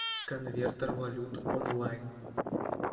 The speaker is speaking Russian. конвертер валют онлайн